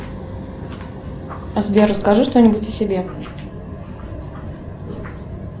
сбер расскажи что нибудь о себе